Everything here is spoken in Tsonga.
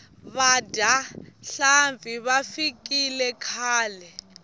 vadyi va nhlampfi va fikile khale